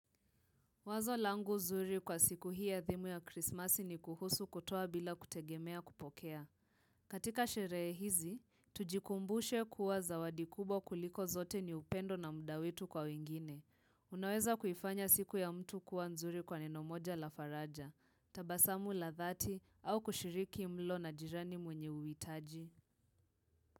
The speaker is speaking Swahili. Wazo langu zuri kwa siku hii adhimu ya krismasi ni kuhusu kutoa bila kutegemea kupokea. Katika sherehe hizi, tujikumbushe kuwa zawadi kubwa kuliko zote ni upendo na muda wetu kwa wengine. Unaweza kuifanya siku ya mtu kuwa nzuri kwa neno moja la faraja, tabasamu la dhati au kushiriki mlo na jirani mwenye uwitaji.